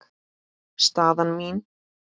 Staðan mín?